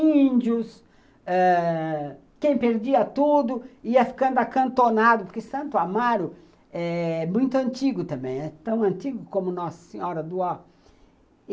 Índios, quem perdia tudo ia ficando acantonado, porque Santo Amaro é muito antigo também, é tão antigo como Nossa Senhora do Ó